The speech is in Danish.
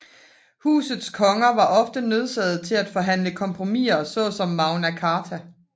Husets konger var ofte nødsaget til at forhandle kompromiser såsom Magna Carta